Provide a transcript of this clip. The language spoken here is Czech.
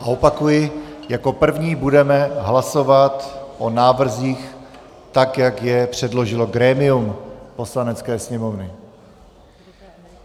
A opakuji, jako první budeme hlasovat o návrzích tak, jak je předložilo grémium Poslanecké sněmovny.